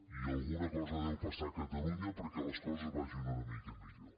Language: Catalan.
i al·guna cosa deu passar a catalunya perquè les coses va·gin una mica millor